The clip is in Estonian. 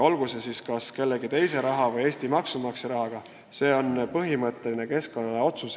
Olgu tegu kellegi teise rahaga või Eesti maksumaksja rahaga, see on põhimõtteline keskkonda puudutav otsus.